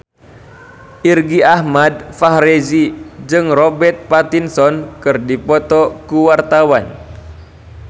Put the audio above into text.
Irgi Ahmad Fahrezi jeung Robert Pattinson keur dipoto ku wartawan